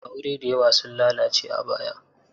Aure da yawa sun lalace a baya.